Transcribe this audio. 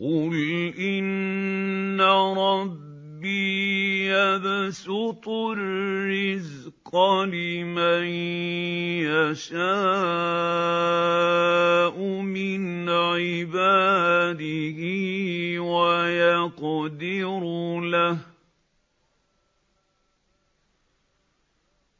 قُلْ إِنَّ رَبِّي يَبْسُطُ الرِّزْقَ لِمَن يَشَاءُ مِنْ عِبَادِهِ وَيَقْدِرُ لَهُ ۚ